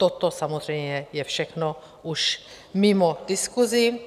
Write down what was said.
Toto samozřejmě je všechno už mimo diskusi.